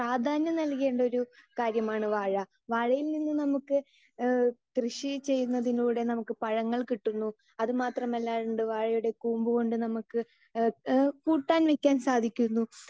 speaker 2 പ്രാധ്യാനം നൽകേണ്ട ഒരു കാര്യമാണ് വാഴ വാഴയിൽ നിന്ന് നമ്മുക്ക് ഈഹ് കൃഷി ചെയ്യുന്നതിലൂടെ നമുക്ക് പഴങ്ങൾ കിട്ടുന്നു അത് മാത്രം അല്ലാണ്ട് വാഴയുടെ കൂമ്പ് കൊണ്ട് ഇഹ് ഇഹ് പൂട്ടാൻ നിക്കാൻ സാധിക്കുന്നു